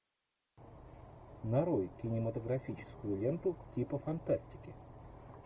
нарой кинематографическую ленту типа фантастики